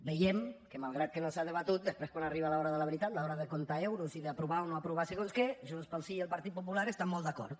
veiem que malgrat que no s’ha debatut després quan arriba l’hora de la veritat l’hora de comptar euros i d’aprovar o no aprovar segons què junts pel sí i el partit popular estan molt d’acord